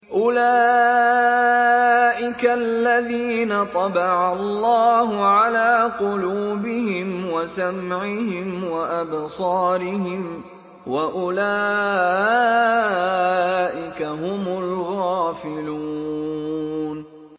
أُولَٰئِكَ الَّذِينَ طَبَعَ اللَّهُ عَلَىٰ قُلُوبِهِمْ وَسَمْعِهِمْ وَأَبْصَارِهِمْ ۖ وَأُولَٰئِكَ هُمُ الْغَافِلُونَ